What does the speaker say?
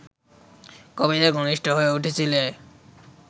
কবিদের ঘনিষ্ঠ হয়ে উঠেছিলে